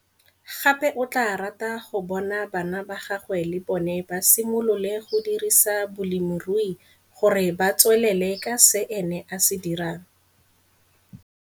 Gape o tlaa rata go bona bana ba gagwe le bona ba simolole go dirisa bolemirui gore ba tswelele ka se ene a se dirang.